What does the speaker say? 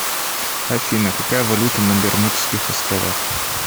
афина какая валюта на бермудских островах